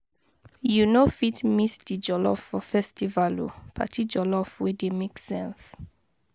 You no fit miss di jollof for festival o, party jollof wey dey make sense